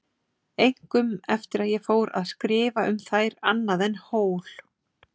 Einkum eftir að ég fór að skrifa um þær annað en hól.